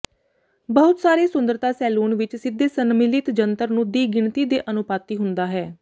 ਬਹੁਤ ਸਾਰੇ ਸੁੰਦਰਤਾ ਸੈਲੂਨ ਵਿੱਚ ਸਿੱਧੇ ਸੰਮਿਲਨ ਜੰਤਰ ਨੂੰ ਦੀ ਗਿਣਤੀ ਦੇ ਅਨੁਪਾਤੀ ਹੁੰਦਾ ਹੈ